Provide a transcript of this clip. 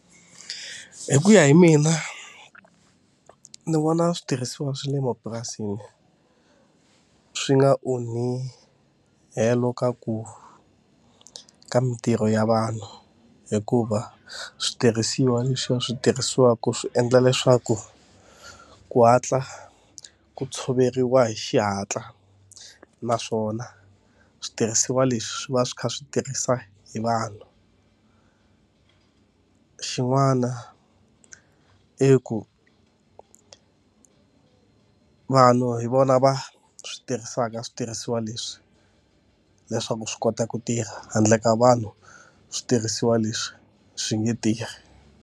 Hi ku ya hi mina, ni vona switirhisiwa swa le mapurasini swi nga onhi helo ka ku ka mintirho ya vanhu, hikuva switirhisiwa leswiya swi tirhisiwaka swi endla leswaku ku hatla ku tshoveriwa hi xihatla. Naswona switirhisiwa leswi swi va swi kha swi tirhisa hi vanhu. Xin'wana i ku vanhu hi vona va swi tirhisaka switirhisiwa leswi leswaku swi kota ku tirha, handle ka vanhu switirhisiwa leswi swi nge tirhi.